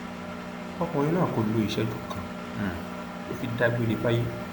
ọkùnrin náà kò lo ìṣẹjú kan um tó fi dágbére fáyé